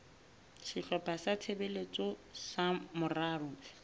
sehlopha sa tshebetso sa moralo